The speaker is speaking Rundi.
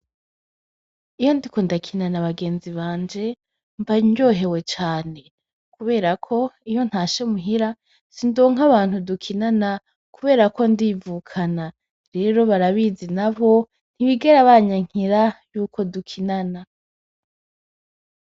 Iyo ndiko ndakina n’abagenzi banje mba ryohewe cane kuberako iyo ntashe muhira sindonke abantu dukinana kuberako ndivukana rero barabizi na bo ntibigera banyankira yuko dukinana.